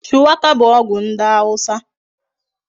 Shuwaka bu ogwu ndi awusa